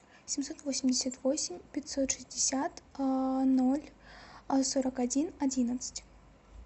семьсот восемьдесят восемь пятьсот шестьдесят ноль сорок один одиннадцать